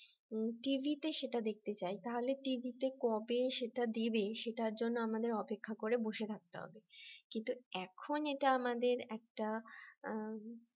টিভিতে সেটা দেখতে চাই তাহলে টিভিতে কবে সেটা দেবে সেটার জন্য আমাদের অপেক্ষা করে বসে থাকতে হবে কিন্তু এখন এটা আমাদের একটা আহ